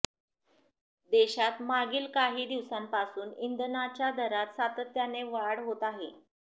देशात मागील काही दिवसांपासून इंधनाच्या दरात सातत्याने वाढ होत आहे